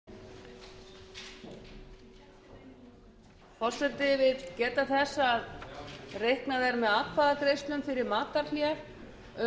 forseti vill geta þess að reiknað er með atkvæðagreiðslum fyrir matarhlé um